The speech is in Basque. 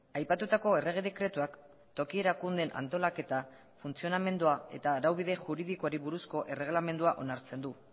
aipatutako errege dekretuak toki erakundeen antolaketa funtzionamendua eta araubide juridikoari buruzko erregelamendua onartzen du